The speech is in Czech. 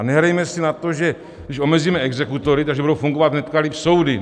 A nehrajme si na to, že když omezíme exekutory, tak budou fungovat hned líp soudy.